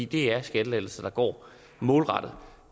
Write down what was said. det er skattelettelser der går målrettet